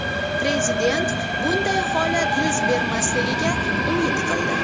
Prezident bunday holat yuz bermasligiga umid qildi.